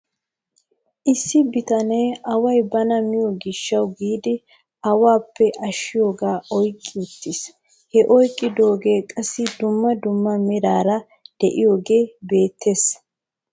Issi bitanee away bana miyoo gishaw giidi awaappe ashiyaagaa oyqqi uttis. He oyqqidoogee qassi dumma dumma meraara de'iyoogee beettes .